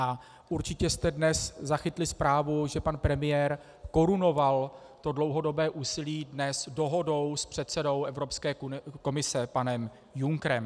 A určitě jste dnes zachytili zprávu, že pan premiér korunoval to dlouhodobé úsilí dnes dohodou s předsedou Evropské komise panem Junckerem.